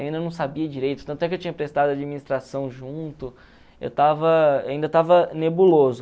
Ainda não sabia direito, tanto é que eu tinha prestado administração junto, eu estacs eu ainda estava nebuloso.